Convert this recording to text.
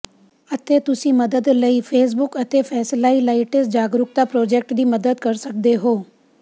ਅਤੇ ਤੁਸੀਂ ਮਦਦ ਲਈ ਫੇਸਬੁੱਕ ਅਤੇ ਫੇਸਿਲਾਈਲਾਈਟਿਸ ਜਾਗਰੁਕਤਾ ਪ੍ਰਾਜੈਕਟ ਦੀ ਮਦਦ ਕਰ ਸਕਦੇ ਹੋ